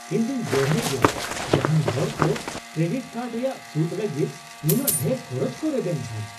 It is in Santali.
ᱤᱧ ᱫᱩᱧ ᱵᱚᱲᱦᱮ ᱜᱮᱭᱟ ᱡᱟᱦᱟᱭ ᱦᱚᱲ ᱠᱚ ᱠᱨᱮᱰᱤᱴ ᱠᱟᱨᱰ ᱨᱮᱭᱟᱜ ᱥᱩᱫ ᱞᱟᱹᱜᱤᱫ ᱱᱩᱱᱟᱹᱜ ᱰᱷᱮᱨ ᱠᱷᱚᱨᱚᱪ ᱠᱚ ᱨᱮᱵᱮᱱ ᱠᱷᱟᱱ ᱾